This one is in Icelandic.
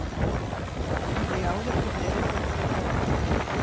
Hafði ég áður flutt erindi um svipað efni hjá